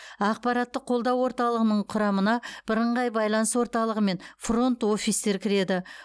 ақпараттық қолдау орталығының құрамына бірыңғай байланыс орталығы мен фронт офистер кіреді